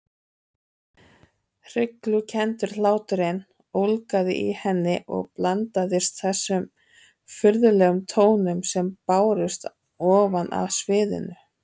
Hryglukenndur hláturinn ólgaði í henni og blandaðist þessum furðulegum tónum sem bárust ofan af sviðinu.